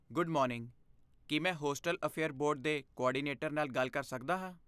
Good morning, ਕੀ ਮੈਂ hostel affair board ਦੇ ਕੋਆਰਡੀਨੇਟਰ ਨਾਲ ਗੱਲ ਕਰ ਸਕਦਾ ਹਾਂ?